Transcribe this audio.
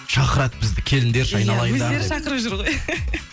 шақырады бізді келіңдерші айналайындар иә өздері шақырып жүр ғой